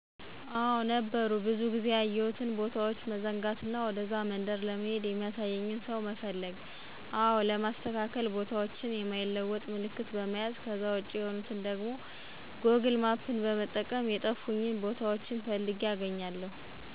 አዎ ነበሩ ብዙ ጊዜ ያየሁትን ቦታዎች መዘንጋት እና ወደዛ መንደር ለመሄድ የሚያሳየኝን ሰው መፈለግ አዎ ለማስተካከል ቦታዎችን የማይለወጥ ምልክት በመያዝ ከዛ ውጭ የሆኑትን ደግሞ ጎግል ማፕን በመጠቀም